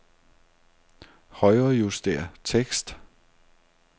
Højrejuster tekst.